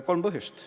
Kolm põhjust.